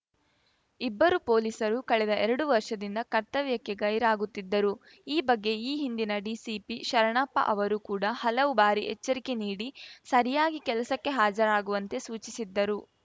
ಇಬ್ಬರು ಪೊಲೀಸರು ಕಳೆದ ಎರಡು ವರ್ಷದಿಂದ ಕರ್ತವ್ಯಕ್ಕೆ ಗೈರಾಗುತ್ತಿದ್ದರು ಈ ಬಗ್ಗೆ ಈ ಹಿಂದಿನ ಡಿಸಿಪಿ ಶರಣಪ್ಪ ಅವರು ಕೂಡ ಹಲವು ಬಾರಿ ಎಚ್ಚರಿಕೆ ನೀಡಿ ಸರಿಯಾಗಿ ಕೆಲಸಕ್ಕೆ ಹಾಜರಾಗುವಂತೆ ಸೂಚಿಸಿದ್ದರು